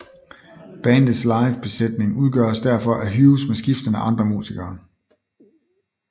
Bandets live besætning udgøres derfor af Hughes med skiftende andre musikere